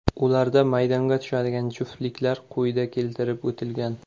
Ularda maydonga tushadigan juftliklar quyida keltirib o‘tilgan.